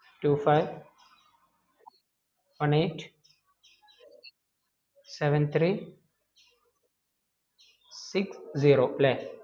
two five one eight seven three six zero അല്ലെ